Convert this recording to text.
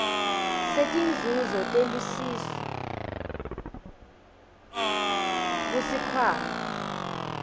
setinzuzo telusiso kusikhwama